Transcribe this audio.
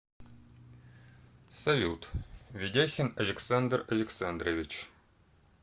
салют ведяхин александр александрович